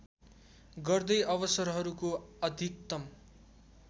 गर्दै अवसरहरूको अधिकतम